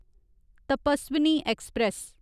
Tapaswini express